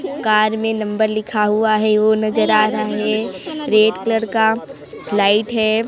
--Car में number लिखा हुआ है वो नजर आ रहा है रेड कलर का लाइट है।